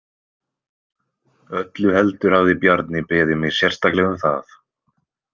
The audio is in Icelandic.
Öllu heldur hafði Bjarni beðið mig sérstaklega um það.